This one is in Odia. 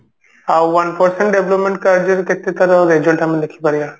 ଆଉ one percent development କାର୍ଯ୍ୟରେ କେତେ ତାର result ଆମେ ଦେଖିପାରିବା